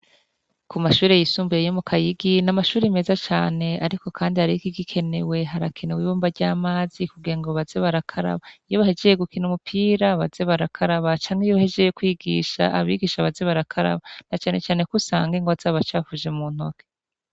Kumashure yisumbuye yomu kayigi namashure meza cane ariko kandi hari ikiginekewe harakenewe ibombo ryamazi kugirango baze barakaraba iyo bahejeje gukina umupira baze barakaraba canke iyo bahejeje kwigisha abigisha baze barakaraba na cane cane ko usanga igwa zabacafuje muntoke